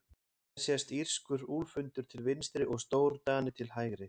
Hér sést írskur úlfhundur til vinstri og stórdani til hægri.